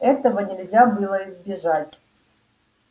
этого нельзя было избежать